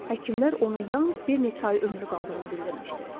Həkimlər ona yalnız bir neçə ay ömrü qaldığını bildirmişdi.